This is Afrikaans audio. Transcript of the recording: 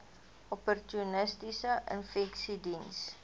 opportunistiese infeksies diens